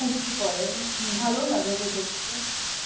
কুর্তি পরে, ভালোউ লাগে ওকে দেখতে.